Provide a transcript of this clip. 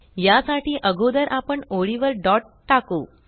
या साठी अगोदर आपण ओळी वर डॉट डॉट टाकु